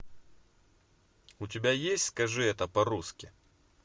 у тебя есть скажи это по русски